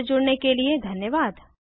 हमसे जुड़ने के लिए धन्यवाद